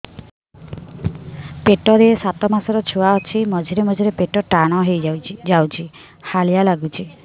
ପେଟ ରେ ସାତମାସର ଛୁଆ ଅଛି ମଝିରେ ମଝିରେ ପେଟ ଟାଣ ହେଇଯାଉଚି ହାଲିଆ ଲାଗୁଚି